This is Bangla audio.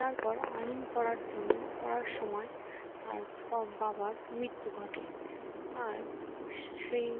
তারপর আইন পড়ার জন্য পড়ার সময়ে তার বাবার মৃত্যু ঘটে আর সেই